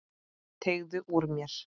Teygði úr mér.